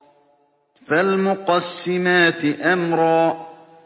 فَالْمُقَسِّمَاتِ أَمْرًا